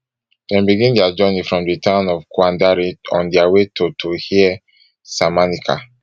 dem begin dia journey from di town of kwandare on dia way to to here saminaka